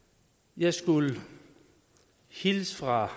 jeg skulle hilse fra